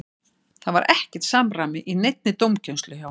Það var ekkert samræmi í neinni dómgæslu hjá honum.